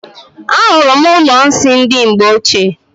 Ahụrụ m ụlọ nsị ndị mgbe ochie.